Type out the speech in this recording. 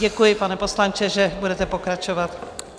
Děkuji, pane poslanče, že budete pokračovat.